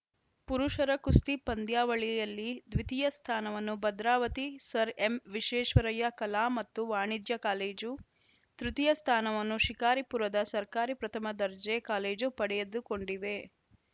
ಪುರುಷರ ಕುಸ್ತಿ ಪಂದ್ಯಾವಳಿಯಲ್ಲಿ ದ್ವಿತೀಯ ಸ್ಥಾನವನ್ನು ಭದ್ರಾವತಿ ಸರ್‌ ಎಂವಿಶ್ವೇಶ್ವರಯ್ಯ ಕಲಾ ಮತ್ತು ವಾಣಿಜ್ಯ ಕಾಲೇಜು ತೃತೀಯ ಸ್ಥಾನವನ್ನು ಶಿಕಾರಿಪುರದ ಸರ್ಕಾರಿ ಪ್ರಥಮ ದರ್ಜೆ ಕಾಲೇಜು ಪಡೆದುಕೊಂಡಿವೆ